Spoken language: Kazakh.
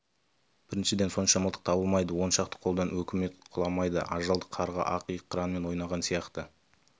біріншіден сонша мылтық табылмайды он шақты қолдан өкімет құламайды ажалды қарға ақ иық қыранмен ойнаған сияқты